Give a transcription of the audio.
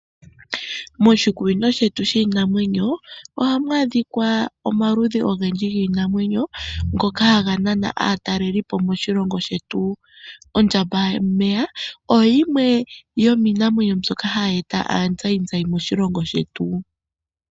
Moshikunino shetu shiinamwenyo ohamu adhika omaludhi ogendji giinamwenyo. Ngoka haga nana aatalelipo moshilongo shetu. Ondjambameya oyo yimwe ndjoka hayi eta azayizayi moshilongo shetu.